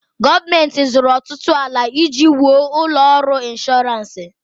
Gọọmenti zụrụ ọtụtụ ala iji wuo ụlọ ọrụ ịnshọransị.